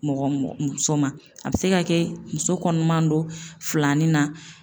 Mɔgɔ mɔgɔ. muso ma a bɛ se ka kɛ muso kɔnɔma don filanin na